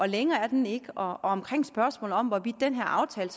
længere er den ikke omkring spørgsmålet om hvorvidt den her aftale